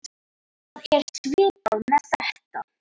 Það er svipað með þetta.